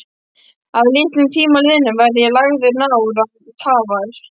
Að litlum tíma liðnum verð ég lagður nár án tafar.